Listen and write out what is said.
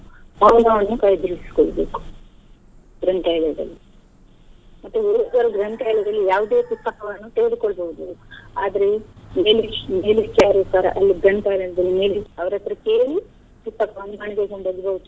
ಸಮಯವನ್ನು ಬೇಕು ಗ್ರಂಥಾಲಯದಲ್ಲಿ ಮತ್ತೆ ಗ್ರಂಥಾಲಯದಲ್ಲಿ ಯಾವುದೇ ಪುಸ್ತಕವನ್ನು ತೆಗೆದ್ಕೊಳ್ಬೋದು ಆದ್ರೆ ಗ್ರಂಥಾಲಯದಲ್ಲಿ ಅವರ್ ಹತ್ರ ಕೇಳಿ ಪುಸ್ತಕವನ್ನು ಮನೆಗೆ ಕೊಂಡೊಗ್ಬೋದು.